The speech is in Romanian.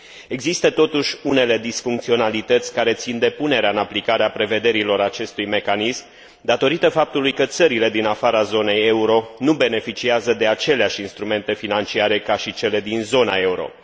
Există totuși unele disfuncționalități care țin de punerea în aplicare a prevederilor acestui mecanism, datorită faptului că țările din afara zonei euro nu beneficiază de aceleași instrumente financiare ca și cele din zona euro.